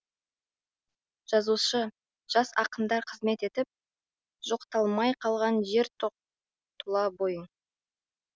жазушы жас ақындар қызмет етіп жоқталмай қалған жер тоқ тұла бойын